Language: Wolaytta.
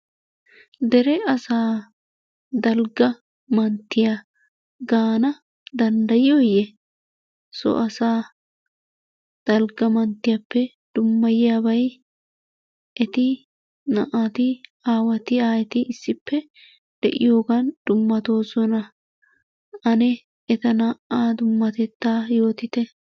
Dere asaa dalgga manttiyaa gaana danddayiyooye? so asaa dalgga manttiyaappe dummayiyaabay eti naa'ati aawati aayeti issippe de'iyoogan dummatoososna. Ane eta naa'aa dummatettaa yoottite.